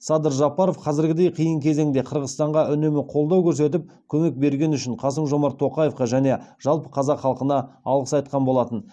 садыр жапаров қазіргідей қиын кезеңде қырғызстанға үнемі қолдау көрсетіп көмек бергені үшін қасым жомарт тоқаевқа және жалпы қазақ халқына алғыс айтқан болатын